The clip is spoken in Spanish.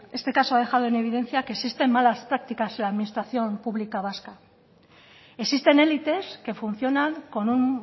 este caso ha dejado en evidencia que existen malas prácticas en la administración pública vasca existen élites que funcionan con un